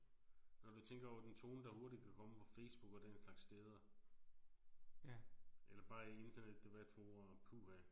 Når du tænker over den tone der hurtigt kan komme på Facebook og den slags steder. Eller bare i internetdebatforummer puha